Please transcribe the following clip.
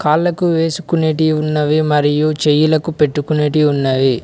కాళ్ళకు వేసుకునేటివి ఉన్నవి మరియు చేయలకు పెట్టుకునేటివి ఉన్నవి.